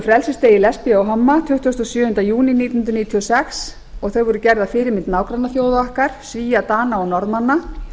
frelsisdegi lesbía og homma tuttugasta og sjöunda júní nítján hundruð níutíu og sex og voru gerð að fyrirmynd nágrannaþjóða okkar svía dana og norðmanna